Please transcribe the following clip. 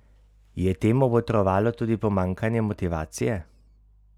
Je temu botrovalo tudi pomanjkanje motivacije?